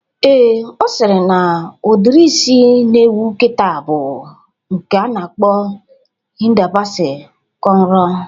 Ee, Ọ sịrị na udiri isi na-ewu kịta bụ nke a na-akpọ Hida Basi kọnro